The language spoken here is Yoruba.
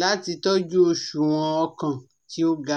lati tọju oṣuwọn ọkan ti o ga?